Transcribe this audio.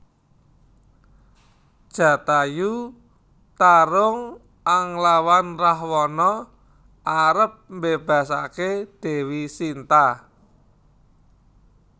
Jatayu tarung anglawan Rahwana arep mbébasaké Déwi Sinta